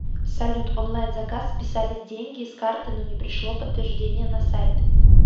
салют онлайн заказ списались деньги с карты но не пришло подтверждение на сайт